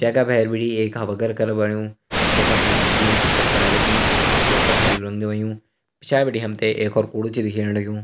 जेका बहर भीटी एक हवा घर कर बणयूं जेका ऐंच टीन की छप्पर लगीं और वैपे हर्युं रंग हुंयूं पिछाड़ी भीटे हमते एक और कूड़ु छा दिख्येण लगयूं।